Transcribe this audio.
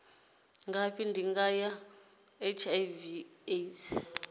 ngafhi ndingo dza hiv aids